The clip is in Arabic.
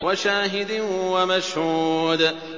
وَشَاهِدٍ وَمَشْهُودٍ